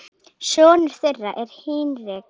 Sonur þeirra er Hinrik.